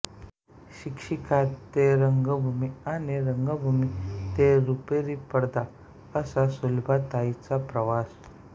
शिक्षिका ते रंगभूमीआणि रंगभूमी ते रुपरी पडदा असा सुलभाताई चा प्रवास